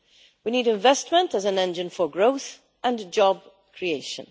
We need investment as an engine for growth and job creation.